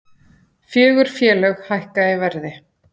Fjögur félög hækka í verði